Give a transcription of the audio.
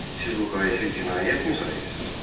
Siz bu xahişi cinayətmi sayırsız?